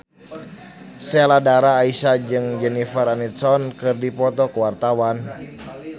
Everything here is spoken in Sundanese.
Sheila Dara Aisha jeung Jennifer Aniston keur dipoto ku wartawan